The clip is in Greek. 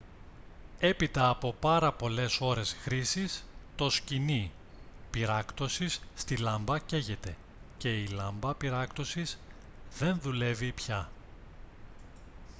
έπειτα από πάρα πολλές ώρες χρήσης το σχοινί πυράκτωσης στη λάμπα καίγεται και η λάμπα πυράκτωσης δεν δουλεύει πια